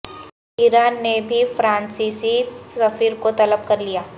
ایران نے بھی فرانسیسی سفیر کو طلب کر لیا